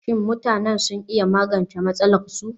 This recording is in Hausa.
Shin mutanen sun iya magance matsalarsu?